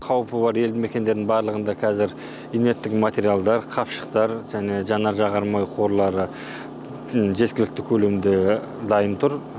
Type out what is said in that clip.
қауіпі бар елді мекендердің барлығында қазір инерттық материалдар қапшықтар және жаңар жағармай қорлары жеткілікте көлемде дайын тұр